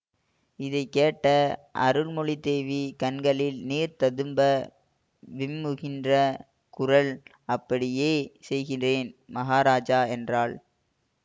இதை கேட்ட அருள்மொழித் தேவி கண்களில் நீர் ததும்ப விம்முகின்ற குரல் அப்படியே செய்கிறேன் மகாராஜா என்றாள்